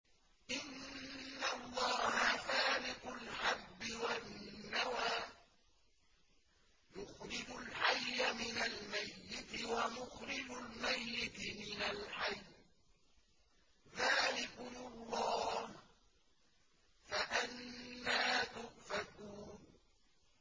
۞ إِنَّ اللَّهَ فَالِقُ الْحَبِّ وَالنَّوَىٰ ۖ يُخْرِجُ الْحَيَّ مِنَ الْمَيِّتِ وَمُخْرِجُ الْمَيِّتِ مِنَ الْحَيِّ ۚ ذَٰلِكُمُ اللَّهُ ۖ فَأَنَّىٰ تُؤْفَكُونَ